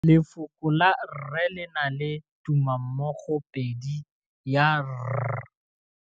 Lefoko la rre le na le tumammogôpedi ya, r.